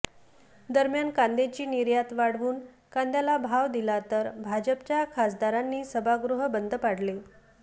दरम्यान कांद्याची निर्यात वाढवून कांद्याला भाव दिला तर भाजपच्या खासदारांनी सभागृह बंद पाडले